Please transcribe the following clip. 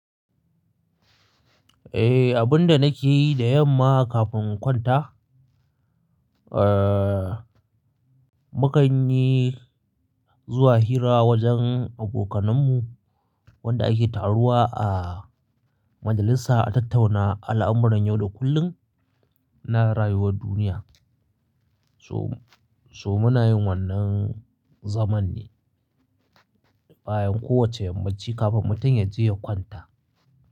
Eh, abun da nake yi da yamma kafin in kwanta, eh, mu kan yi, zuwa hira wajen abokananmu, wanda ake taruwa a majalisa a tattauna al'amuran yau da kullum, na rayuwar duniya. So muna yin wannan zaman ne, bayan kowacce yammaci kafin mutum ya je ya kwanta.